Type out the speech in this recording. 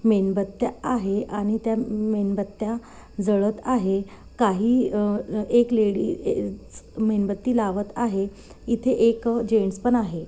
मेनबत्त्या आहे आणि त्या मेनबत्त्या जळत आहे काही एक लेडी ज मेनबत्ती लावत आहे इथे एज जेन्स पण आहे.